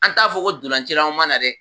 An t'a fɔ ko dolancilaw ma na dɛ?